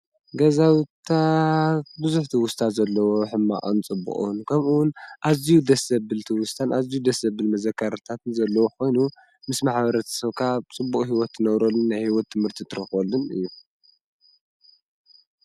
ገዛውታ ብዙኅቲእዩስታት ዘለዎ ሕማኣንጽብቕን ከምኡውን ኣዙይ ደሰብልቲ ውስታን ኣዙይ ደሰብል መዘካርታትን ዘለዉ ኾይኑ ምስ ማኃበረት ሰውካ ጽቡኡ ሕይወት ነውረልን ሕይወት ምህርቲ ትረኽወሉን እዩ።